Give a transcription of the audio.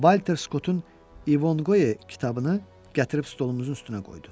Valter Skotun İvonqoe kitabını gətirib stolumuzun üstünə qoydu.